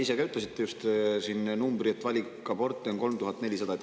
Te ütlesite, et valikaborte oli 3400.